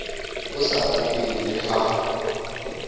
o sa rateng le ha